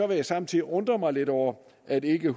vil samtidig undre mig lidt over at ikke